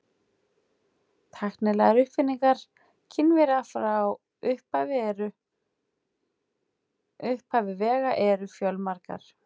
Tæknilegar uppfinningar Kínverja frá upphafi vega eru fjölmargar.